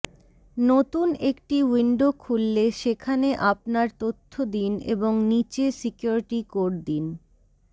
নতুন একটি উইন্ডো খুললে সেখানে আপনার তথ্য দিন এবং নীচে সিকিউরিটি কোড দিন